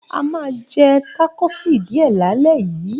A máa jẹ tákòsí díẹ̀ lálẹ́ yìí.